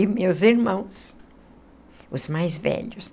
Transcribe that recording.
E meus irmãos, os mais velhos.